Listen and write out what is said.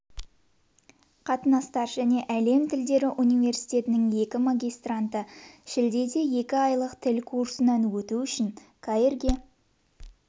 қатынастар және әлем тілдері университетінің екі магистранты шілдеде екі айлық тіл курсынан өту үшін каирге